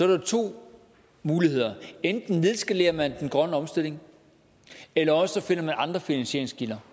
der to muligheder enten nedskalere man den grønne omstilling eller også finder man andre finansieringskilder